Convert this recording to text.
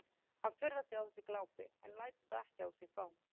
Hann furðar sig á þessu glápi en lætur það ekki á sig fá.